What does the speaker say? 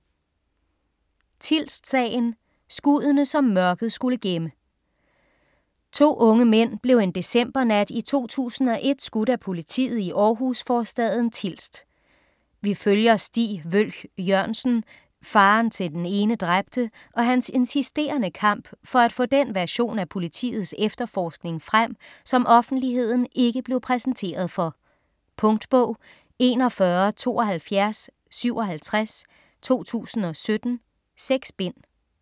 Tilst-sagen: skuddene, som mørket skulle gemme To unge mænd blev en decembernat i 2001 skudt af politiet i Århus-forstaden Tilst. Vi følger Stig Wølch Jørgensen, faderen til den ene dræbte, og hans insisterende kamp for at få den version af politiets efterforskning frem, som offentligheden ikke blev præsenteret for. Punktbog 417257 2017. 6 bind.